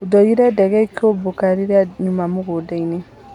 Ndorire ndege ĩkĩũmbũka rĩria nyuma mũgundainĩ.